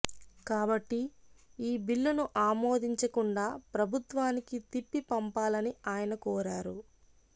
కాబట్టి ఈ బిల్లును ఆమోదించకుండా ప్రభుత్వానికి తిప్పి పంపాలని ఆయన కోరారు